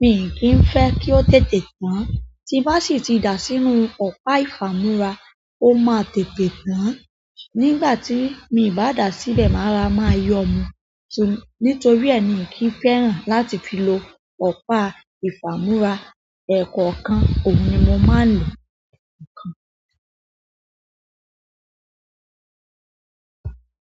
mi ń kí n fẹ́ kó tètè tán, tí n bá dé ti da sínú ọ̀pá ìfà múra ó máa tètè tán. Nígbà tí mi ń bá dà síbẹ̀, màá ra, màá yọ́ ọ mú. Nítorí e mi ò kì n fẹ́ràn láti fi lò ọ̀pá ìfà múra ẹ̀kọ́ kan ohun ni mo máa ń lò, ẹ̀kọ́ kan.